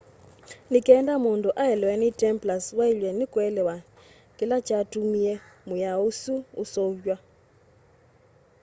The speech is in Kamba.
ni kenda mundu aelewe ni templars wailwe ni kuelewa kila kyatumie mwiao usu useuvwa